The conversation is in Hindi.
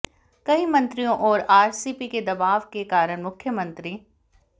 कई मंत्रियों और आरसीपी के दबाव के कारण मुख्यमंत्री